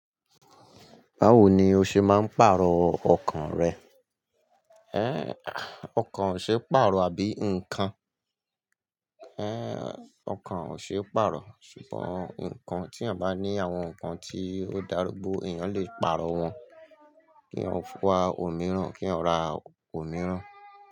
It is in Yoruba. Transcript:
Báwo ni o ṣe máa ń pàrọ̀ ọkàn rẹ? Ë, ọkàn ò ṣe é pàrọ̀, àbí nǹkan? Ë, ọkàn ò ṣe é pàrọ̀, ṣùgbọ́n nǹkan tí ẹ́yan bá ní àwọn nǹkan tí ó dàrúgbò, èèyàn lè pàrọ̀ wọ́n. Kí ẹyan fún wa òmíràn, kí ẹyan ra òmíràn.